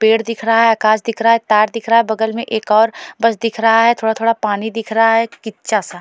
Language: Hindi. पेड़ दिख रहा हैं कांच दिख रहा हैं तार दिख रहा हैं बगल में एक और बस दिख रहा हैं थोड़ा थोड़ा पानी दिख रहा हैं किच्छा सा --